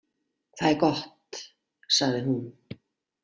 Það er gott, sagði hún.